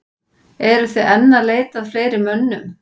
Eruð þið enn að leita að fleiri mönnum?